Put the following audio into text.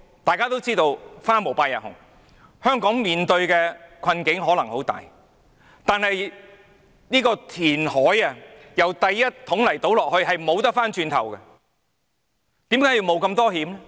大家也知道"花無百日紅"，香港面對的困境可能會很大，但是，如果進行填海，在第一桶沙倒下去以後便不能回頭，為何要冒如此大風險？